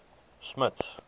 smuts